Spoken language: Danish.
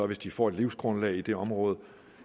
hvis de får et livsgrundlag i det område